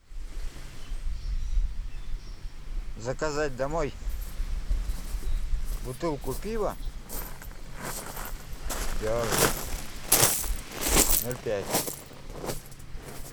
заказать домой бутылку пива берн ноль пять